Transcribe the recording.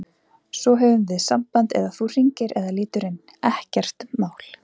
Svo höfum við samband eða þú hringir eða lítur inn, ekkert mál.